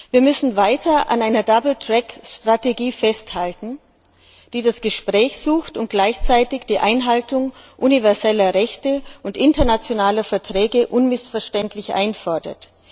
Wir müssen weiter an einer Double Track Strategie festhalten, in deren Rahmen wir das Gespräch suchen und gleichzeitig die Einhaltung universeller Rechte und internationaler Verträge unmissverständlich einfordern.